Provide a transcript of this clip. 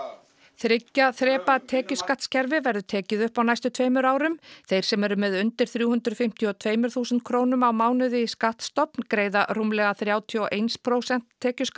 þriggja þrepa tekjuskattskerfi verður tekið upp á næstu tveimur árum þeir sem eru með undir þrjú hundruð fimmtíu og tvö þúsund krónum á mánuði í skattstofn greiða rúmlega þrjátíu og eitt prósent tekjuskatt